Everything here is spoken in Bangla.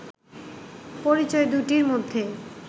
পরিচয় দুটির মধ্যে